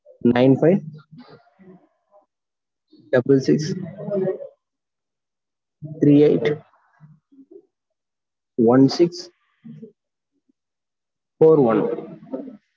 nine five double six three eight one six four one